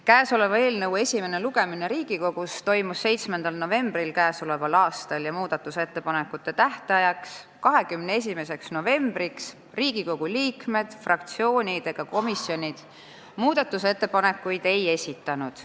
Kõnealuse eelnõu esimene lugemine Riigikogus toimus 7. novembril k.a ja muudatusettepanekute tähtajaks, 21. novembriks Riigikogu liikmed, fraktsioonid ega komisjonid ettepanekuid ei esitanud.